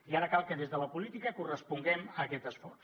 i ara cal que des de la política corresponguem a aquest esforç